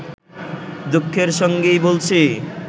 দুঃখের সঙ্গেই বলছি